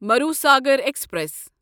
Marusagar express